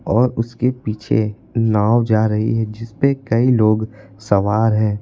और उसके पीछे नाव जा रही है जिस पे कई लोग सवार है।